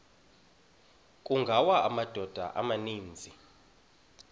kungawa amadoda amaninzi